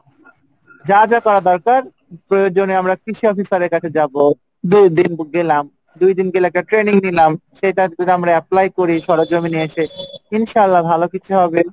যা যা করা দরকার প্রয়োজনে আমরা কৃষি officer এর কাছে যাবো যে গেলাম দুই দিন গিয়ে একটা training নিলাম সেটা যদি আমরা apply করি কমিনে এসে ইনশাল্লাহ ভালোই হবে।